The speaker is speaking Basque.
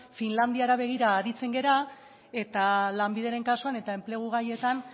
finlandiara begira aritzen gara eta lanbideren kasuan eta enplegu gaietan